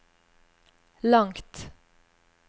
langt